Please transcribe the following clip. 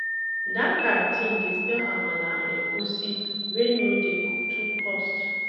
Dat canteen dey sell amala and egusi wey no dey too cost.